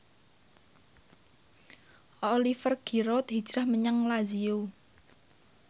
Oliver Giroud hijrah menyang Lazio